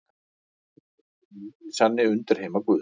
Plútó er svo hinn eini sanni undirheimaguð.